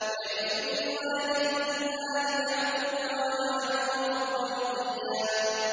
يَرِثُنِي وَيَرِثُ مِنْ آلِ يَعْقُوبَ ۖ وَاجْعَلْهُ رَبِّ رَضِيًّا